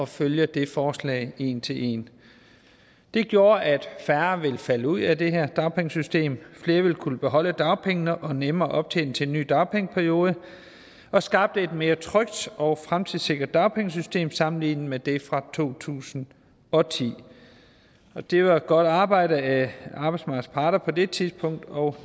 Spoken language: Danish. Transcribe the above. følge det forslag en til en det gjorde at færre ville falde ud af det her dagpengesystem at flere ville kunne beholde dagpengene og nemmere optjene til en ny dagpengeperiode og skabte et mere trygt og fremtidssikret dagpengesystem sammenlignet med det fra to tusind og ti det var et godt arbejde af arbejdsmarkedets parter på det tidspunkt og